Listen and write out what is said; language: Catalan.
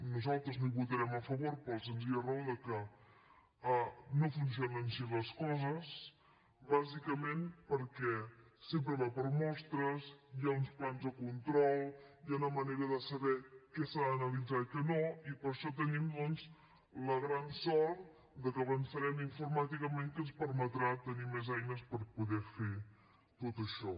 nosaltres no hi votarem a favor per la senzilla raó de que no funcionen així les coses bàsicament perquè sempre va per mostres hi ha uns plans de control hi ha una manera de saber què s’ha d’analitzar i què no i per això tenim doncs la gran sort de que avançarem informàticament que ens permetrà tenir més eines per poder fer tot això